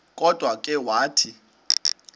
kodwa ke wathi